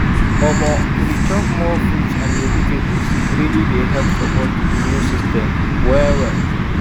omor to dey chop more fruits and vegetables really dey help support the immune system well-well